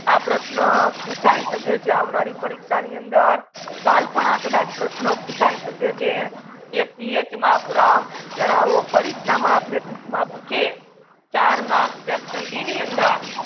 આ પ્રશ્ના પૂછાય સકે છે અવનારી પરિક્ષા ની અંદર કલ પણ કડચ આ પ્રશ્ના પૂછાયી માટે છે કે પીએચ માત્ર જનવો પરિક્ષા માં પૂછે ચાર marks સંધી ની અંદર